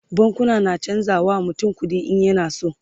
bankuna na chanza wa mutum kuɗi in yana so